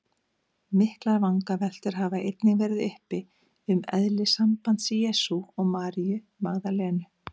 Miklar vangaveltur hafa einnig verið uppi um eðli sambands Jesú og Maríu Magdalenu.